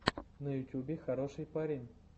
на ютюбе хороший парень